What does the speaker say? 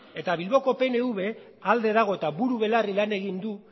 eta bilboko pnv alde dago eta buru belarri lan egin du